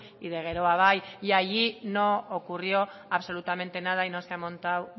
y de geroa bai y allí no ocurrió absolutamente nada y no se ha montado